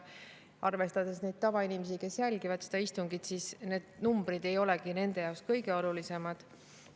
Arvestades tavainimesi, kes jälgivad seda istungit, ei olegi need numbrid nende jaoks kõige olulisemad.